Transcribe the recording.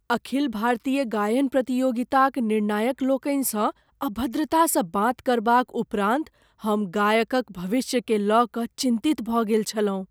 अखिल भारतीय गायन प्रतियोगिताक निर्णायकलोकनिसँ अभद्रतासँ बात करबाक उपरान्त हम गायकक भविष्यकेँ लय कऽ चिन्तित भऽ गेल छलहुँ।